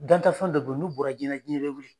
Dantafɛn dɔ do n'u bɔra jiyɛn na jiyɛn bɛ wuli.